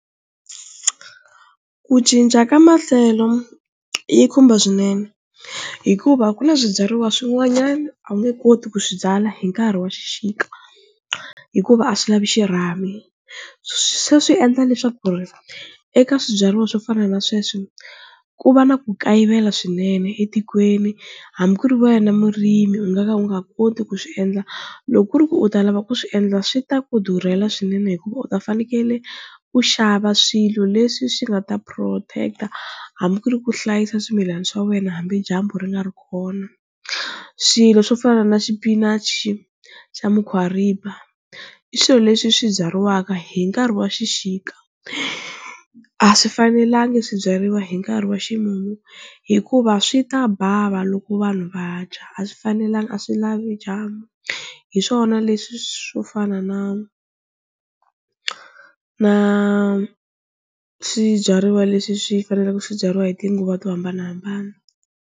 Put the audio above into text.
Ku cinca ka maxelo yi khumba swinene hikuva ku na swibyariwa swin'wanyani a wu nge koti ku swi byala hi nkarhi wa xixika hikuva a swi lavi xirhami, se swi endla leswaku ri eka swibyariwa swo fana na sweswo ku va na ku kayivela swinene etikweni hambi ku ri wena murimi u nga ka u nga koti ku swi endla loko ku ri ku u ta lava ku swiendla swi ta ku durhela swinene hikuva u ta fanekele u xava swilo leswi swi nga ta protect hambi ku ri ku hlayisa swimilana swa wena hambi dyambu ri nga ri kona, swilo swo fana na xipinachi xa mukhwariba i swilo leswi swi byariwaka hi nkarhi wa xixika a swi fanelanga swi byariwa hi nkarhi wa ximumu hikuva swi ta bava loko vanhu vadya a swi fanelanga a swi lavi dyambu, hi swona leswi swo fana na na swibyariwa leswi swi faneleke swi byariwa hi tinguva to hambanahambana.